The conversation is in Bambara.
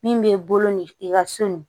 Min b'i bolo ni i ka so ni